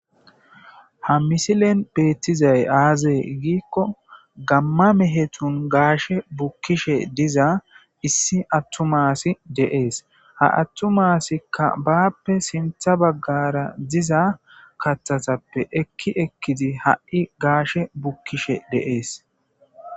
ha misilen beettizay aazae giikko gamma mehetun gaashe bukkishe diza issi attumaasi deees ha attumaasikka baappe sintha baggara diza katthatappe ekki ekkidi ha7i gaashe bukkishe deees